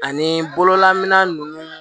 Ani bololam nunnu